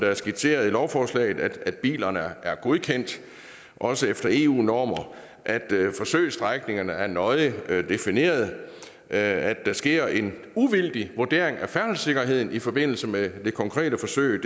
er skitseret i lovforslaget nemlig at bilerne er godkendte også efter eu normer at forsøgsstrækningerne er nøje defineret at der sker en uvildig vurdering af færdselssikkerheden i forbindelse med det konkrete forsøg